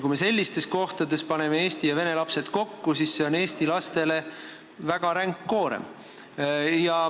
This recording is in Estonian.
Kui me sellistes kohtades paneme eesti ja vene lapsed kokku, siis see on eesti lastele väga ränk koorem.